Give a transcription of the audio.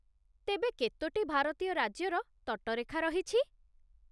ତେବେ, କେତୋଟି ଭାରତୀୟ ରାଜ୍ୟର ତଟରେଖା ରହିଛି?